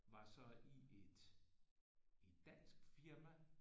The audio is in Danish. Var så i et et dansk firma